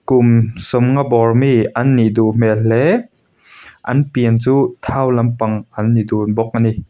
kum sawmnga bawr mi an nih duh hmel hle an pian chu thau lampang an ni dun bawk ani.